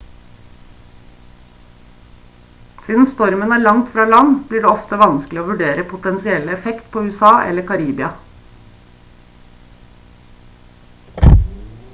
siden stormen er langt fra land blir det ofte vanskelig å vurdere potensielle effekt på usa eller karibia